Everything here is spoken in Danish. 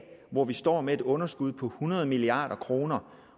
hvor vi står med et underskud på hundrede milliard kroner